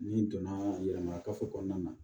N'i donna yɛlɛma kafo kɔnɔna na